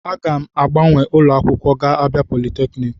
Aga m agbanwe ụlọ akwụkwọ gaa na Abia polytechniki.